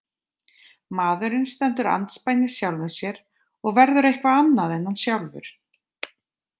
Maðurinn stendur andspænis sjálfum sér og verður eitthvað annað en hann sjálfur.